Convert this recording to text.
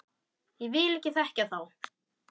Ég vil ekki þekkja þá.